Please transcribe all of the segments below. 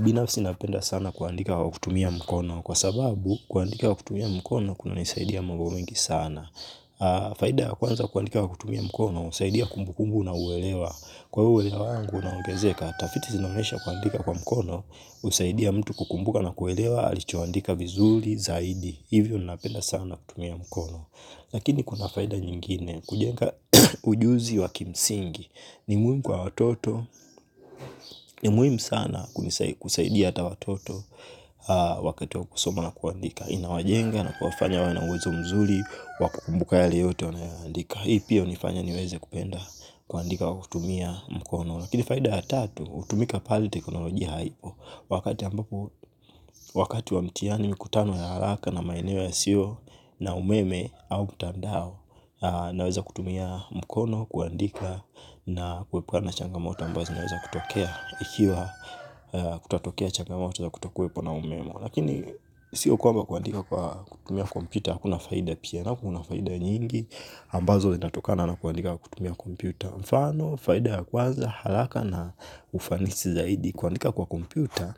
Binafsi napenda sana kuandika kwa kutumia mkono kwa sababu kuandika kwa kutumia mkono kunanisaidia mambo mengi sana. Faida ya kwanza kuandika kwa kutumia mkono usaidia kumbukumbu na uelewa. Kwa uelewa wangu unaogezeka, tafiti sinaonyesha kuandika kwa mkono usaidia mtu kukumbuka na kuelewa alichoandika vizuri zaidi. Hivyo napenda sana kutumia mkono. Lakini kuna faida nyingine kujenga ujuzi wa kimsingi ni muhimu kwa watoto ni muhimu sana kusaidia hata watoto wakati wa kusoma na kuandika. Inawajenga na kuwafanya wawe na uwezo mzuri, wa kukumbuka yale yote wanayoandika hii pia unifanya niweze kupenda kuandika kwa kutumia mkono lakini faida ya tatu, utumika pale teknolojia haipo wakati wa mitihani mikutano ya haraka na maeneo yasio na umeme au mtandao naweza kutumia mkono, kuandika na kuepukana na changamoto ambazo zinaweza kutokea ikiwa kutatokea changamoto na kutakuepo na umeme lakini siyo kwamba kuandika kwa kutumia kompyuta hakuna faida pia nao kuna faida nyingi ambazo inatokana na kuandika kwa kutumia kompyuta mfano, faida ya kwanza, haraka na ufanisi zaidi kuandika kwa kompyuta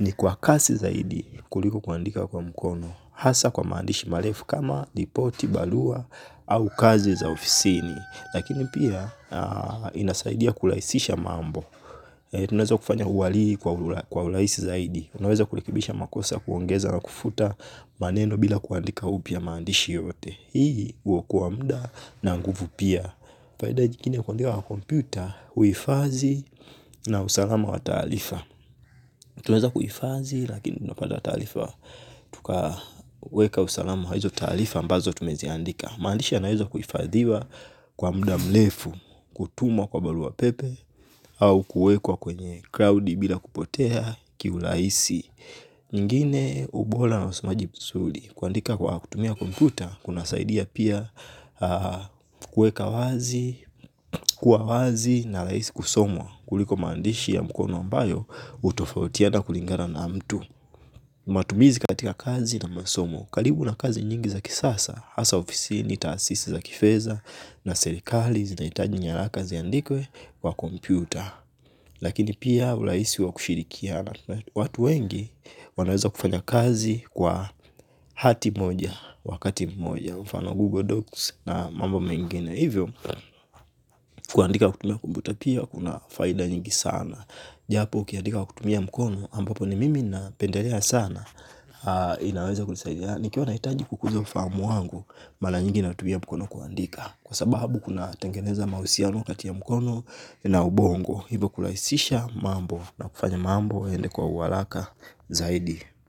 ni kwa kasi zaidi kuliko kuandika kwa mkono hasa kwa maandishi marefu kama ripoti, barua au kazi za ofisini lakini pia inasaidia kurahisisha mambo tunaeza kufanya kwa urahisi zaidi unaweza kurekebisha makosa kuongeza na kufuta maneno bila kuandika upya maandishi yote hii uokoa muda na nguvu pia faida jingine la kuandika kwa kompyuta uhifadi na usalama wa taarifa tunaweza kuihifadhi lakini unapata taarifa. Tukaweka usalamu wa hizo taarifa ambazo tumeziandika maandishi yanaweza kuhifadhiwa kwa muda mrefu kutuma kwa barua pepe au kuekwa kwenye cloud bila kupotea. Kiurahisi nyingine ubora na usomaji mzuri kuandika kwa kutumia kompyuta kunasaidia pia kueka wazi kuwa wazi na rahisi kusomwa kuliko maandishi ya mkono ambayo utofautiana kulingana na mtu matumizi katika kazi na masomo karibu na kazi nyingi za kisasa hasa ofisini taasisi za kifedha na serikali zinaitaji nyaraka ziandikwe kwa kompyuta lakini pia urahisi wa kushirikiana watu wengi wanaweza kufanya kazi kwa hati moja, wakati moja mfano Google Docs na mamba mengine hivyo kuandika kutumia kompyuta pia kuna faida nyingi sana japo ukiandika kwa kutumia mkono ampapo ni mimi napendelea sana inaweza kunisaidia nikiwa nahitaji kukuza ufahamu wangu mara nyingi natumia mkono kuandika kwa sababu kuna tengeneza mahusiano kati ya mkono na ubongo hivyo kurahisisha mambo na kufanya mambo yaende kwa uharaka zaidi.